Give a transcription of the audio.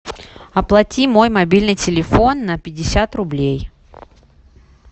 оплати мой мобильный телефон на пятьдесят рублей